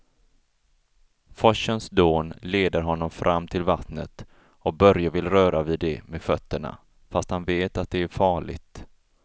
Forsens dån leder honom fram till vattnet och Börje vill röra vid det med fötterna, fast han vet att det är farligt.